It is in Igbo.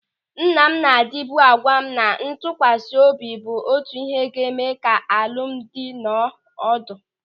Nna m na-adịba agwa m na ntụkwasị obi bụ otu ịhe ga-eme ka alụmdi nọọ ọdụ.